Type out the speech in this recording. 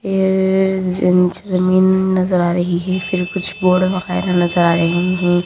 येअअ inch जमीन नजर आ रही है फिर कुछ बोर्ड वगैरा नजर आ रहे है।